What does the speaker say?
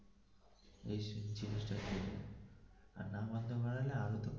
দোষ চাপিয়ে দেবে না মারলে আগে.